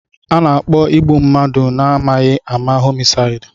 Ana-akpọ igbu mmadụ na-amaghị ama homisaidi.